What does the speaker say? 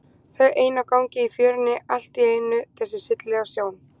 Þau ein á gangi í fjörunni og allt í einu þessi hryllilega sjón.